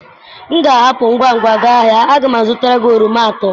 m ga-ahapụ ngwa ngwa gaa ahịa, a ga m azụtara gị oroma atọ.